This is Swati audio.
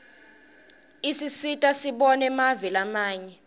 isisita sibone mave lamanye